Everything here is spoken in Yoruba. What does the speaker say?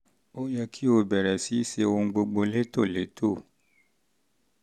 ó yẹ kó o bẹ̀rẹ̀ sí í ṣe ohun gbogbo létòlétò